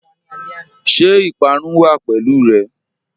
Ṣẹ ipàrún wà pẹ̀lú rẹ?